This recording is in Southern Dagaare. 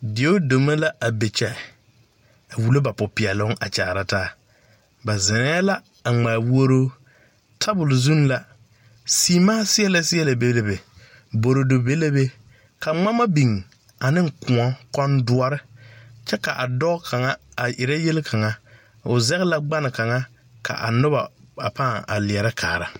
Deodeme la a be kyɛ a wulo ba popeɛloŋ a kyaare taa ba zeŋɛɛ la a ŋmaa wuoruu tabul zuŋ la seemaa seɛlɛ seɛlɛ be la be boroboro be la be ka ŋmama biŋ ne kõɔ kondoɔre kyɛ ka a dɔɔ kaŋa a erɛ yelkaŋa o zɛge la gbane kaŋa ka a noba ba pãã a leɛrɛ kaara.